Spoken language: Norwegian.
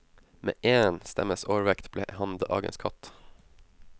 Med én stemmes overvekt ble han dagens katt.